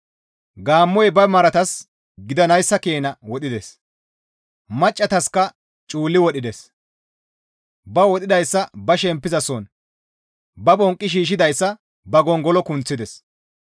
Gaammoy ba maratas gidanayssa keena wodhides; maccataska cuulli wodhides; ba wodhidayssa ba shemppizason, ba bonqqi shiishshidayssa ba gongolo kunththides.